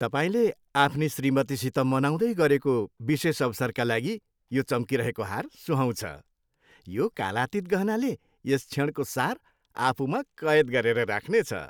तपाईँले आफ्नी श्रीमतीसित मनाउँदै गरेको विशेष अवसरका लागि यो चम्किरहेको हार सुहाउँछ, यो कालातीत गहनाले यस क्षणको सार आफूमा कैद गरेर राख्नेछ।